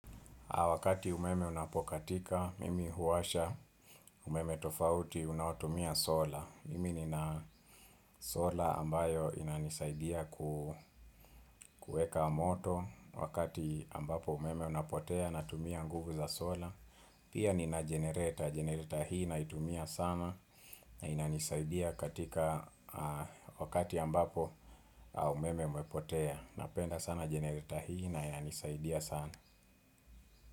Wakati umeme unapokatika, mimi huwasha, umeme tofauti, unaotumia sola. Mimi nina sola ambayo inanisaidia kuweka moto. Wakati ambapo umeme unapotea, natumia nguvu za sola. Pia nina jenereta, jenereta hii naitumia sana. Inanisaidia katika wakati ambapo umeme umepotea. Napenda sana jenereta hii na yanisaidia sana.